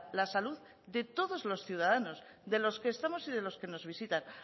la salud de todos los ciudadanos de los que estamos y de los que nos visitan